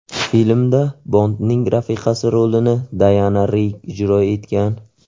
Filmda Bondning rafiqasi rolini Dayana Rigg ijro etgan.